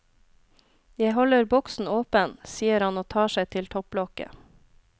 Jeg holder boksen åpen, sier han og tar seg til topplokket.